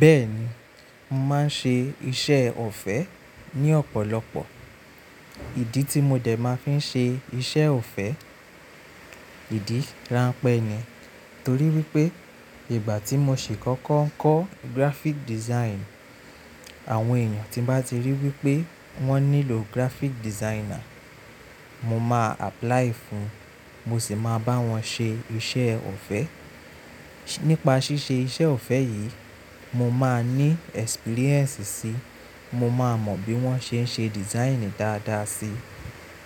Bẹ́ẹ̀ni, mò ń ṣe iṣẹ́ ọ̀fẹ́ ní ọ̀pọ̀lọpọ̀. Ìdí tí mo dẹ̀ máa fi ṣe iṣẹ́ ọ̀fẹ́, ìdí ranpẹ́ ni. Torí wípé ìgbà tí mo ṣì kọ́kọ́ ń kọ́ graphic design, àwọn èyàn tí n bá ti rí wípé wọ́n nílò graphic designer, mo máa apply fún un, mo sì máa bá wọn ṣe iṣẹ́ ọ̀fẹ́. Nípa ṣíṣe iṣẹ́ ọ̀fẹ́ yìí, mo máa ní experience sí i, mo máa mọ bí wọ́n ṣe ń ṣe design dáadáa sí i.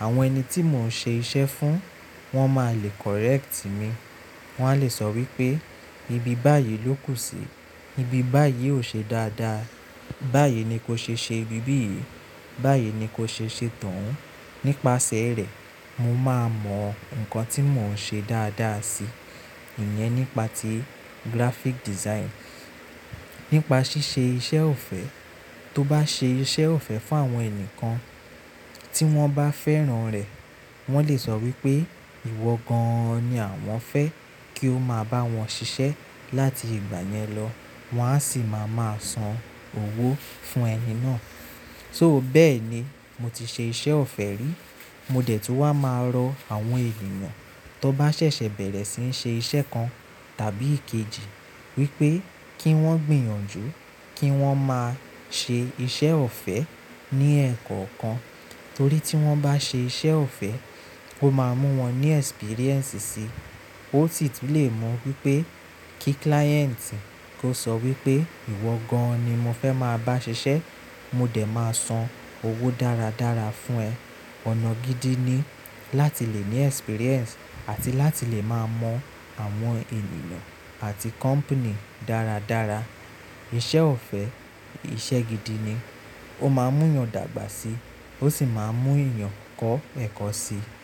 Àwọn ẹni tí mò ń ṣe iṣẹ́ fún, wọ́n máa le correct mi. Wọ́n á le sọ wípé ibi báyìí ló kù sí i, ibi báyìí ò ṣe dáadáa, báyìí ni kó ṣe ṣe ibi yìí, báyìí ni kó ṣe ṣe to oun. Nípasẹ̀ rẹ̀, mo máa mọ nǹkan tí mò ń ṣe dáadáa sí i, ìyẹn nípa ti graphic design. Nípa ṣíṣe iṣẹ́ ọ̀fẹ́, tó bá ṣe iṣẹ́ ọ̀fẹ́ fún àwọn ẹni kan tí wọ́n bá fẹ́ràn rẹ̀, wọ́n lè sọ wípé ìwọ gan-an ni àwọn fẹ́ kí o máa bá wọn ṣiṣẹ́ láti ìgbà yẹn lọ, wọ́n á sì máa máa san owó fún ẹni náà. So bẹ́ẹ̀ ni mo ti ṣe iṣẹ́ ọ̀fẹ́ rí. Mo dẹ̀ tun wá máa rọ àwọn ènìyàn tó bá ṣẹ̀ṣẹ̀ bẹ̀rẹ̀ síi n ṣe iṣẹ́ kan tàbí ikejì wípé kí wọ́n gbìyànjú kí wọ́n máa ṣe iṣẹ́ ọ̀fẹ́ ní ẹ̀kọ́ kan. Torí tí wọ́n bá ṣe iṣẹ́ ọ̀fẹ́, ó máa mú wọn ní experience sí i, ó sì tun lè mú pípé kí client kó sọ wípé ìwọ gan-an ni mo fẹ́ máa bá ṣiṣẹ́, mo dẹ̀ máa san owó dáradára fún ẹ. Ọ̀nà gidi ni láti le ní experience àti láti le máa mọ àwọn ènìyàn àti company dáradára. Iṣẹ́ ọ̀fẹ́ iṣẹ́ gidi ni. Ó máa mú yàn dàgbà sí i, ó sì máa mú èèyàn kọ́ ẹ̀kọ́ sí i.